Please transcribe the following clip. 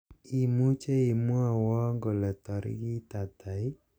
imuche imwowon kole tarogit ata ii